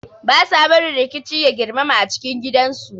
They do not allow violence to escalate in the home